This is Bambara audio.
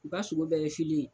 U ka sulu bɛɛ ye fili ye.